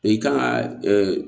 I kan ka